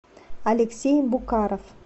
алексей букаров